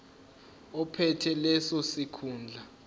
ophethe leso sikhundla